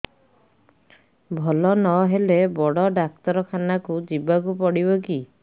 ଭଲ ନହେଲେ ବଡ ଡାକ୍ତର ଖାନା ଯିବା କୁ ପଡିବକି